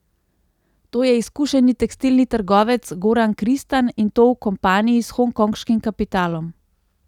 To je izkušeni tekstilni trgovec Goran Kristan, in to v kompaniji s hongkonškim kapitalom.